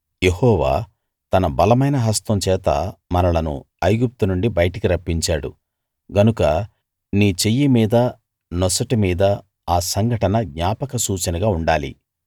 యెహోవా తన బలమైన హస్తం చేత మనలను ఐగుప్తు నుండి బయటికి రప్పించాడు గనుక నీ చెయ్యి మీదా నొసటి మీదా ఆ సంఘటన జ్ఞాపక సూచనగా ఉండాలి